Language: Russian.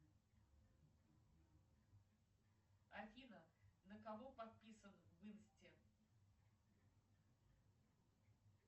афина на кого подписан в инсте